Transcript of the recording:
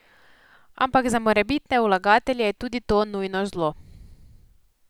Ampak za morebitne vlagatelje je tudi to nujno zlo.